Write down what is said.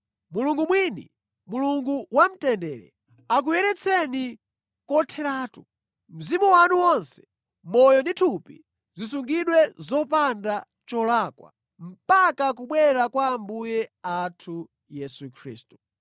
Mulungu mwini, Mulungu wamtendere, akuyeretseni kotheratu. Mzimu wanu wonse, moyo ndi thupi zisungidwe zopanda cholakwa mpaka kubwera kwa Ambuye athu Yesu Khristu.